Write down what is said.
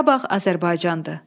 Qarabağ Azərbaycandır.